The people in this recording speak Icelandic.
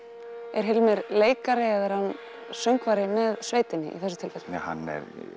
er Hilmir leikari eða er hann söngvari með sveitinni í þessu tilfelli hann